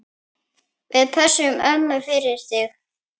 Við pössum ömmu fyrir þig.